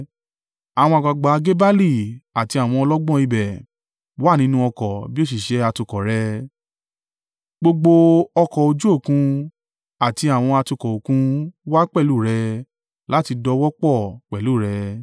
Àwọn àgbàgbà Gebali, àti àwọn ọlọ́gbọ́n ibẹ̀, wà nínú ọkọ̀ bí òṣìṣẹ́ atukọ̀ rẹ, gbogbo ọkọ̀ ojú Òkun àti àwọn atukọ̀ Òkun wá pẹ̀lú rẹ láti dòwò pọ̀ pẹ̀lú rẹ̀.